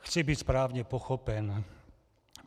Chci být správně pochopen.